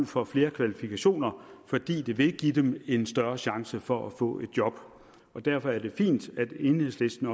for flere kvalifikationer fordi det vil give dem en større chance for at få et job derfor er det fint at enhedslisten